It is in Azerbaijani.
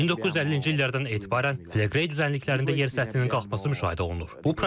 1950-ci illərdən etibarən Fleqrey düzənliklərində yer səthinin qalxması müşahidə olunur.